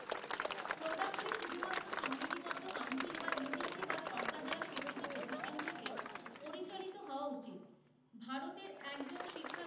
এটাই তো হওয়া উচিত, ভারতের একজন শিক্ষার্থী,